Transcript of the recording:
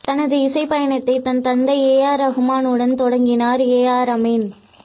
தனது இசை பயணத்தை தன் தந்தை ஏ ஆர் ரஹ்மான் உடன் தொடங்கினார் ஏ ஆர் அமீன்